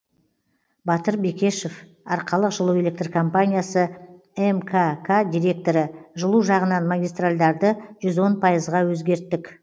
батыр бекешев арқалық жылу электр компаниясы мкк директоры жылу жағынан магистарльдарды жүз он пайызға өзгерттік